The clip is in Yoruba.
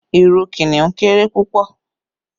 Lion has a very small tail